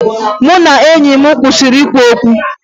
Mụ na enyi m kwụsịrị ikwu okwu